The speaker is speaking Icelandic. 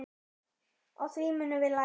Á því munum við læra.